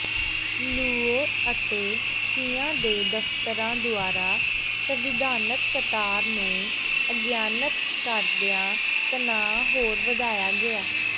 Luo ਅਤੇ Xia ਦੇ ਦਫਤਰਾਂ ਦੁਆਰਾ ਸੰਵਿਧਾਨਕ ਕਤਾਰ ਨੂੰ ਅਗਿਆਨਤ ਕਰਦਿਆਂ ਤਣਾਅ ਹੋਰ ਵਧਾਇਆ ਗਿਆ